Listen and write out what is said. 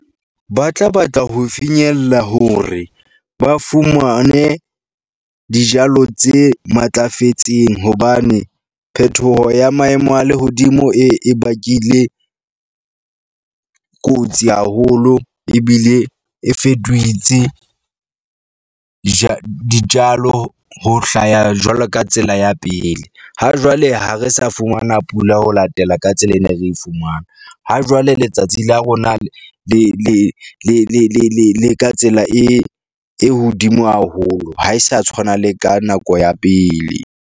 Ba tla batla ho finyella hore ba fumane dijalo tse matlafetseng hobane phethoho ya maemo a lehodimo e e bakile kotsi haholo ebile e dijalo. Ho hlaha jwalo ka tsela ya pele. Ha jwale, ha re sa fumana pula ho latela ka tsela ene re e fumana. Ha jwale letsatsi la rona le le le le le le ka tsela e e hodimo haholo ha e sa tshwana le ka nako ya pele.